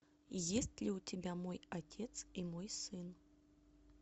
есть ли у тебя мой отец и мой сын